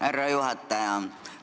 Härra juhataja!